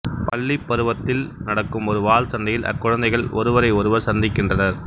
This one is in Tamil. பள்ளி பருவத்தில் நடக்கும் ஒரு வாள் சண்டையில் அக்குழந்தகள் ஒருவரை ஒருவர் சந்திக்கின்றனர்